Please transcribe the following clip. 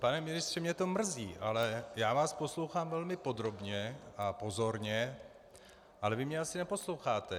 Pane ministře, mě to mrzí, ale já vás poslouchám velmi podrobně a pozorně, ale vy mě asi neposloucháte.